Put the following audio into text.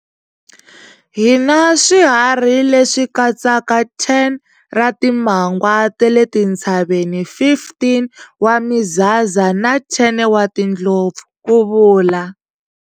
Hi na swiharhi leswi katsaka 10 ra timangwa ta le tintshaveni, 15 wa mizaza na 10 wa timhofu, ku vula.